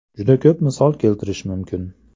Juda ko‘p misol keltirishim mumkin.